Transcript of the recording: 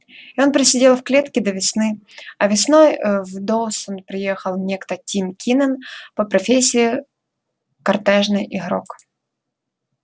и он просидел в клетке до весны а весной в доусон приехал некто тим кинен по профессии картёжный игрок